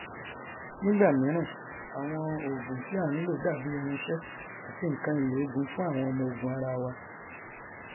nígbà míràn àwọn ògùn tí a nlò dà bí irinṣẹ àti nkan ìlò ogun fún àwọn ọmọogun ara wa